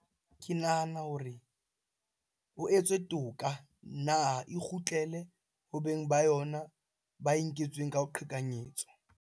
Ke nahana hore ho etswe toka na e kgutlele hobeng ba yona ba e nketsweng ka ho qhekanyetswa?